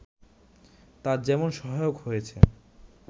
তা যেমন সহায়ক হয়েছে